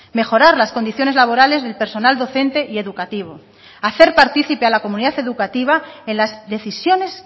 mejorar las condiciones laborales del personal docente y educativo hacer partícipe a la comunidad educativa en las decisiones